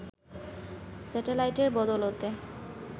স্যাটেলাইটের বদৌলতে